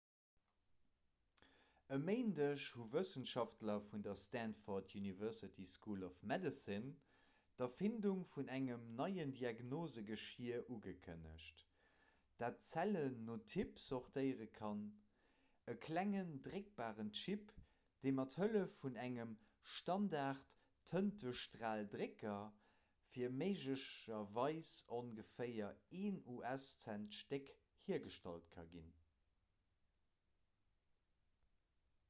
e méindeg hu wëssenschaftler vun der stanford university school of medicine d'erfindung vun engem neien diagnosgeschier ugekënnegt dat zellen no typ sortéiere kann e klengen dréckbaren chip dee mat hëllef vun engem standardtëntestraldrécker fir méiglecherweis ongeféier een us-cent d'stéck hiergestallt ka ginn